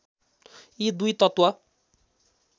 यी दुई तत्त्व